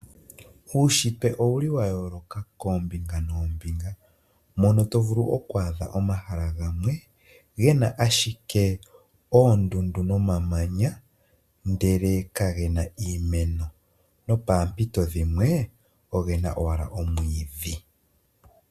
Uunshitwe owu ki wa yooloka koombinga noombinga mono to vulu oku adha omahala gamwe gena ashike oondundu nomamanya, ndeke ka gena iimeno. No poompito dhimwe ogena owala omwiidhi.